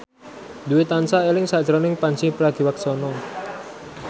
Dwi tansah eling sakjroning Pandji Pragiwaksono